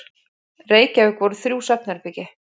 Reykjavík voru þrjú svefnherbergi.